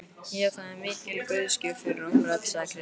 Já, það er mikil guðsgjöf fyrir okkur öll, sagði Kristín.